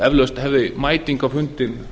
eflaust hefði mæting á fundinn